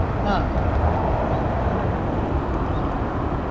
ആഹ് അഹ്